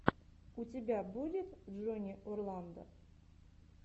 у тебя будет джонни орландо